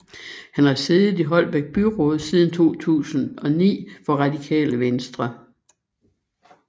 Han har siddet i Holbæk Byråd siden 2009 for Radikale Venstre